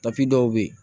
dɔw bɛ yen